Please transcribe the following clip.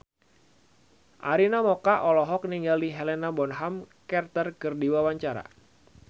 Arina Mocca olohok ningali Helena Bonham Carter keur diwawancara